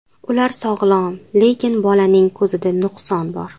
Ular sog‘lom, lekin bolaning ko‘zida nuqson bor.